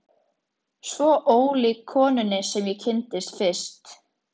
Svo ólík konunni sem ég kynntist fyrst.